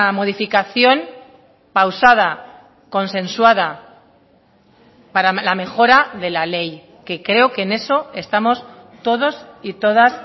modificación pausada consensuada para la mejora de la ley que creo que en eso estamos todos y todas